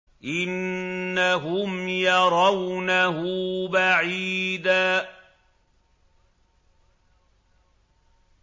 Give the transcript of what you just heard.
إِنَّهُمْ يَرَوْنَهُ بَعِيدًا